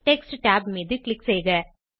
text tab மீது click செய்க